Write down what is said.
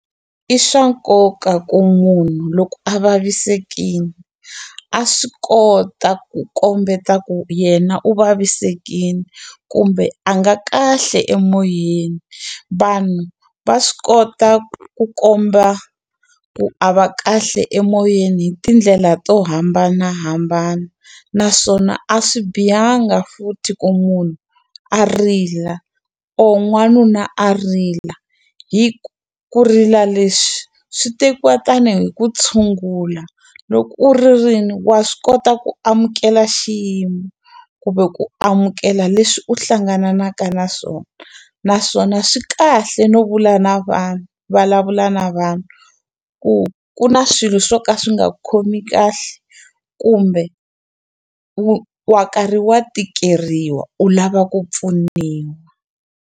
I swa nkoka ku munhu loko a vavisekini a swi kota ku kombeta ku yena u vavisekini kumbe a nga kahle emoyeni vanhu va swi kota ku komba ku a va kahle emoyeni hi tindlela to hambanahambana naswona a swi bihanga futhi ku munhu a rila or n'wanuna a rila hi ku ku rila leswi swi tekiwa tanihi ku tshungula loko u ri ririni wa swi kota ku amukela xiyimo kumbe ku amukela leswi u hlangananaka na swona naswona swi kahle no vula na vanhu vulavula na vanhu ku ku na swilo swo ka swi nga khomi kahle kumbe wu wa karhi wa tikeriwa u lava ku pfuniwa.